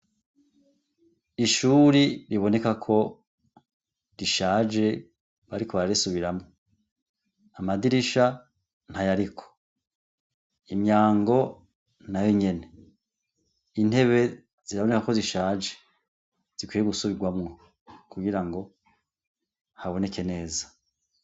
Ishuri riboneka ko rishaje bariko bararisubiramwo, amadirisha ntayariko, imyango nayo nyene, intebe ziraboneka ko zishaje zikwiye gusubirwamwo kugira ngo haboneke neza.